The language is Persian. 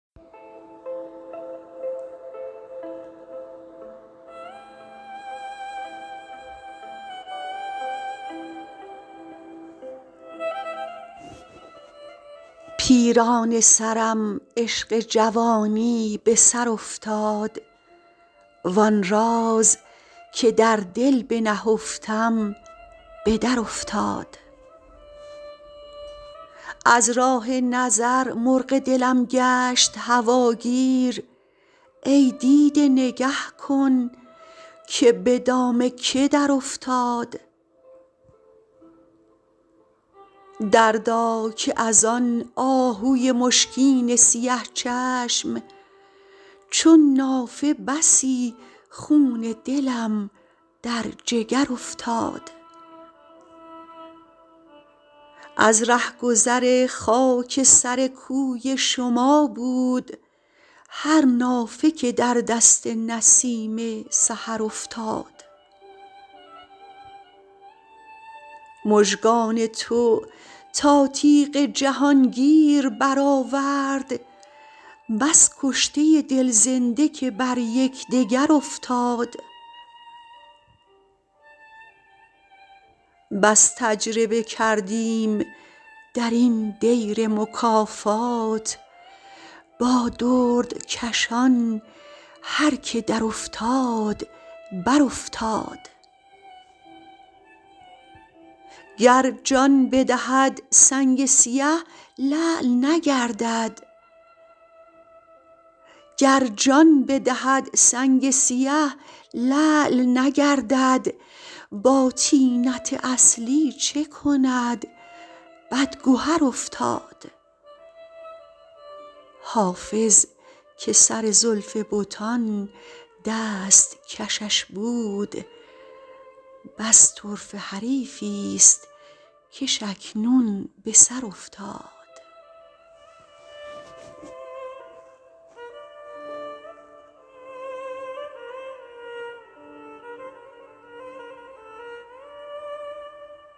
پیرانه سرم عشق جوانی به سر افتاد وآن راز که در دل بنهفتم به درافتاد از راه نظر مرغ دلم گشت هواگیر ای دیده نگه کن که به دام که درافتاد دردا که از آن آهوی مشکین سیه چشم چون نافه بسی خون دلم در جگر افتاد از رهگذر خاک سر کوی شما بود هر نافه که در دست نسیم سحر افتاد مژگان تو تا تیغ جهانگیر برآورد بس کشته دل زنده که بر یکدگر افتاد بس تجربه کردیم در این دیر مکافات با دردکشان هر که درافتاد برافتاد گر جان بدهد سنگ سیه لعل نگردد با طینت اصلی چه کند بدگهر افتاد حافظ که سر زلف بتان دست کشش بود بس طرفه حریفی ست کش اکنون به سر افتاد